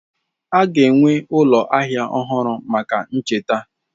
A ga-enwe ụlọ ahịa ọhụrụ maka ihe ncheta.